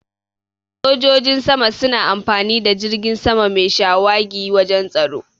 Sojojin sama suna amfani da jirgin sama mai shawagi wajan tsaro.